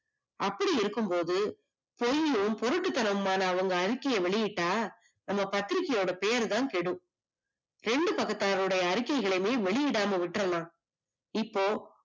அப்படி இருக்கும் போது பொய்யும் போரட்டுத்தனமான அவங்க அறிக்கைய வெளியிட்டா உங்க பத்திரிகையோடபெயர்தான் கேடும், இரண்டு பக்கத்தார் உடைய அறிக்கைகளையுமே வெளியிடாம விட்டறலாம். இப்போ